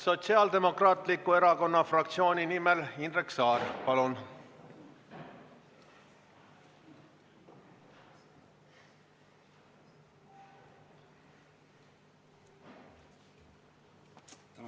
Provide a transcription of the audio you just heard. Sotsiaaldemokraatliku Erakonna fraktsiooni nimel Indrek Saar, palun!